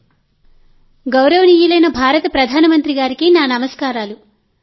ముందుగా గౌరవనీయులైన భారత ప్రధాన మంత్రి గారికి నా నమస్కారాలు